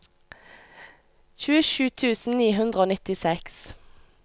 tjuesju tusen ni hundre og nittiseks